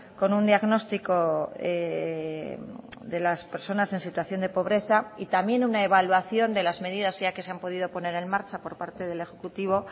con un diagnóstico de las personas en situación de pobreza y también una evaluación de las medidas ya que se han podido poner en marcha por parte del ejecutivo